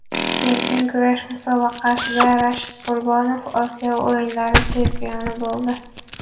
Erkin kurash musobaqasida Rashid Qurbonov Osiyo o‘yinlari chempioni bo‘ldi.